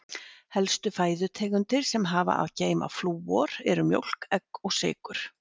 Helstu fæðutegundir sem hafa að geyma flúor eru: mjólk, egg og fiskur.